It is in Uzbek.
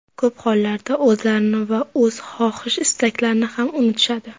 Ko‘p hollarda, o‘zlarini va o‘z xohish-istaklarini ham unutishadi.